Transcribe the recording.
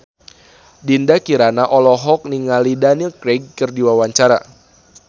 Dinda Kirana olohok ningali Daniel Craig keur diwawancara